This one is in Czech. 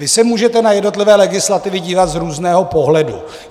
Vy se můžete na jednotlivé legislativy dívat z různého pohledu.